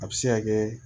A bɛ se ka kɛ